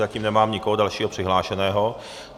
Zatím nemám nikoho dalšího přihlášeného.